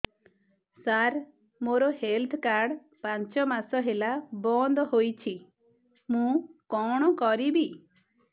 ସାର ମୋର health card ପାଞ୍ଚ ମାସ ହେଲା ବଂଦ ହୋଇଛି ମୁଁ କଣ କରିବି